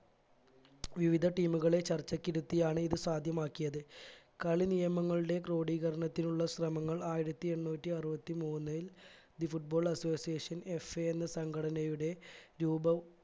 വിവിധ team ഉകളെ ചർച്ചക്കിരുത്തിയാണ് ഇത് സാധ്യമാക്കിയത് കളി നിയമങ്ങളുടെ കോഡീകരണത്തിനുള്ള ശ്രമങ്ങൾ ആയിരത്തി എണ്ണൂറ്റി അറുപത്തി മൂന്നിൽ the football associationFA എന്ന സംഘടനയുടെ രൂപം